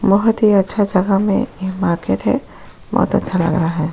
बहत ही अच्छा जगह में ये मार्केट है बहत अच्छा लग रहा है।